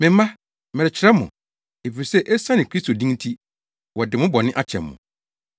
Me mma, merekyerɛw mo, efisɛ esiane Kristo din nti, wɔde mo bɔne akyɛ mo.